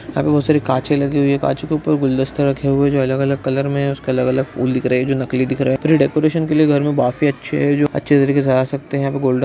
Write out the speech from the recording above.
यहाँ बहोत सारी काँचे लगी हुई हैकाँचो के ऊपर गुलदस्ते रखे हुए हैंजो अलग-अलग कलर में हैं उस पर अलग-अलग फूल दिख रखे हुए हैंजो नकली देख रहे हैं प्री डेकोरेशन के लिए घर में काफी अच्छे हैंजो अच्छे तरीके से आ सकते हैयहाँ पे गोल्डन --